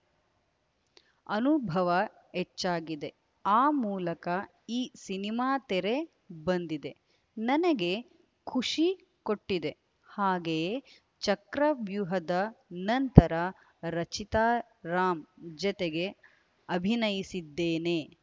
ಅನುಭವ ಹೆಚ್ಚಾಗಿದೆ ಆ ಮೂಲಕ ಈ ಸಿನಿಮಾ ತೆರೆ ಬಂದಿದೆ ನನಗೆ ಖುಷಿ ಕೊಟ್ಟಿದೆ ಹಾಗೆಯೇ ಚಕ್ರವ್ಯೂಹದ ನಂತರ ರಚಿತಾ ರಾಮ್‌ ಜತೆಗೆ ಅಭಿನಯಿಸಿದ್ದೇನೆ